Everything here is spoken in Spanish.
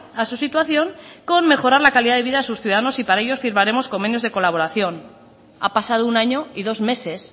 a su situación con mejorar la calidad de vida a sus ciudadanos y para ello firmaremos convenios de colaboración ha pasado un año y dos meses